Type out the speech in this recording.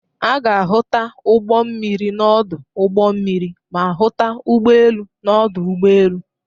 A ga-ahụta ụgbọ mmiri n'ọdụ ụgbọ mmiri ma hụta ụgbọ elu n'ọdụ ụgbọ elu.